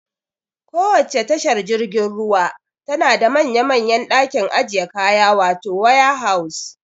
Kowacce tashar jirgin ruwa tana da manya manyan ɗakin ajiye kaya wato waya haus